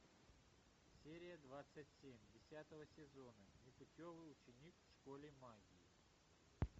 серия двадцать семь десятого сезона непутевый ученик в школе магии